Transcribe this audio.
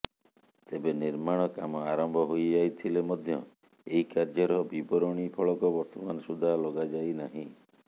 ତେବେ ନିର୍ମାଣ କାମ ଆରମ୍ଭ ହୋଇଯାଇଥିଲେ ମଧ୍ୟ ଏହି କାର୍ଯ୍ୟର ବିବରଣୀ ଫଳକ ବର୍ତ୍ତମାନ ସୁଦ୍ଧା ଲଗାଯାଇ ନାହିଁ